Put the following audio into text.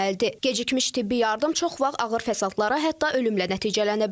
Gecikmiş tibbi yardım çox vaxt ağır fəsadlara, hətta ölümlə nəticələnə bilər.